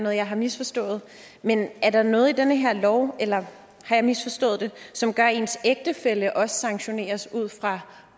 jeg har misforstået men er der noget i den her lov eller har jeg misforstået det som gør at ens ægtefælle også sanktioneres ud fra